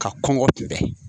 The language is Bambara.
Ka kɔngɔ kunbɛ